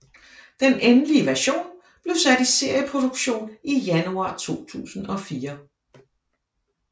Den endelige version blev sat i serieproduktion i januar 2004